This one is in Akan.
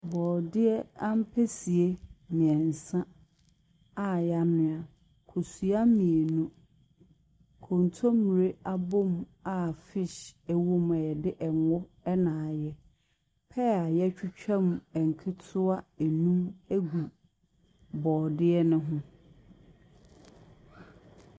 Borɔdeɛ ampesi mmiɛnsa a yɛanoa, kosua mmienu, kontommire a abɔmu a fish wɔ mu a yɛde ngo na ayɛ. Pear a yɛatwitwa mu nketewa nnum gu borɔdeɛ ne ho.